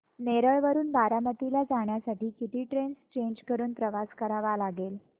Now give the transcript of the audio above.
नेरळ वरून बारामती ला जाण्यासाठी किती ट्रेन्स चेंज करून प्रवास करावा लागेल